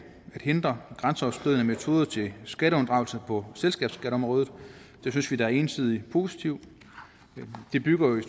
at hindre grænseoverskridende metoder til skatteunddragelse på selskabsskatteområdet det synes vi er entydigt positivt det bygger i